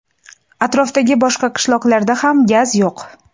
Atrofdagi boshqa qishloqlarda ham gaz yo‘q.